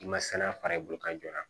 I ma saniya fara i bolo ka jɔ